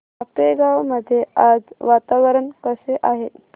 आपेगाव मध्ये आज वातावरण कसे आहे